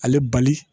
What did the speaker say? Ale bali